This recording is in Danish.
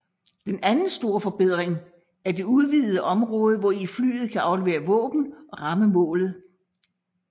Den anden store forbedring er det udvidede område hvori flyet kan aflevere våben og ramme målet